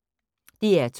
DR2